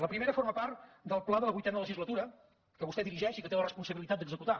la primera forma part del pla de la vuitena legislatura que vostè dirigeix i que té la responsabilitat d’executar